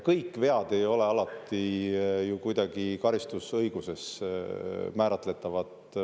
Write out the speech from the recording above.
Kõik vead ei ole alati ju kuidagi karistusõiguses määratletavad.